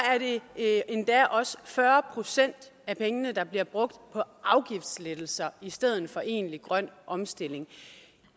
det endda også fyrre procent af pengene der bliver brugt på afgiftslettelser i stedet for egentlig grøn omstilling